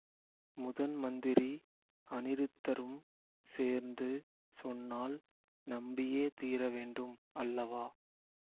முதன் மந்திரி அநிருத்தரும் சேர்ந்து சொன்னால் நம்பியே தீரவேண்டும் அல்லவா